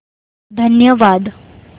धन्यवाद